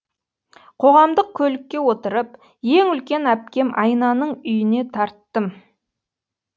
қоғамдық көлікке отырып ең үлкен әпкем айнаның үйіне тарттым